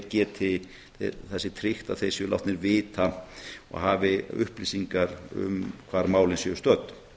það sé tryggt að þeir séu látnir vita og hafi upplýsingar um hvar málin séu stödd